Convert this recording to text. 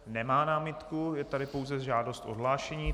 Nemá námitku, je tady pouze žádost o odhlášení.